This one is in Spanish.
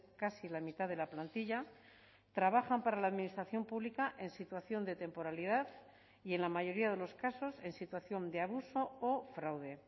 casi la mitad de la plantilla trabajan para la administración pública en situación de temporalidad y en la mayoría de los casos en situación de abuso o fraude